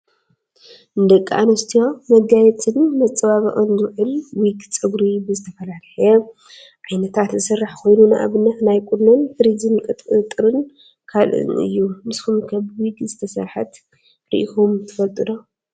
ንደቂ ኣንስትዮ መጋየፅን መፀባበቅን ዝውዕል ዊግ ፀጉሪ ብዝተፈላለዩ ዓይነታት ዝስራሕ ኮይኑ ንኣብነት ናይ ቁኖን ፊሪዝን፣ ቁጥጥርን ካልእን እዩ። ንሱም ከ ብዊግ ዝተሰረሓት ሪኢኩም ትፈልጡ ዶ ?